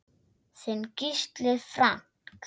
Þinn Gísli Frank.